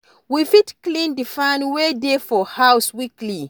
We fit clean di fan wey dey for house weekly